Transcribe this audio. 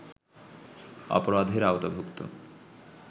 অপরাধের আওতাভূক্ত